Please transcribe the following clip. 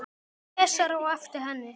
Sesar á eftir henni.